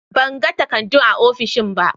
Ban gani takardun a ofishin ba.